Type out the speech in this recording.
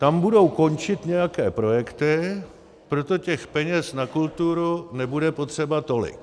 Tam budou končit nějaké projekty, proto těch peněz na kulturu nebude potřeba tolik.